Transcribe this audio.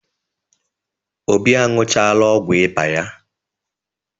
Obi anụchala ọgwụ ịba ya.